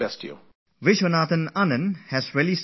Vishwanathan Anand has really said something very important